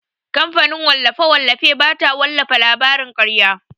Kamfanin wallafe-wallafe bata wallafa labarin karya.